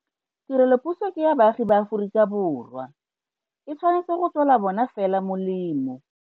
Tirelopuso ke ya baagi ba Aforika Borwa. E tshwanetse go tswela bona fela molemo.